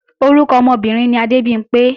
Orúkọ ọmọbìnrin ni Adébimpé